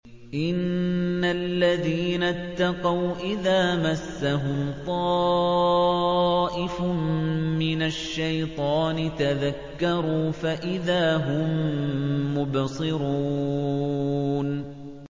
إِنَّ الَّذِينَ اتَّقَوْا إِذَا مَسَّهُمْ طَائِفٌ مِّنَ الشَّيْطَانِ تَذَكَّرُوا فَإِذَا هُم مُّبْصِرُونَ